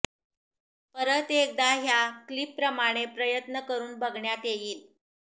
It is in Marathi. परत एकदा ह्या क्लीप प्रमाणे प्रयत्न करून बघण्यात येईल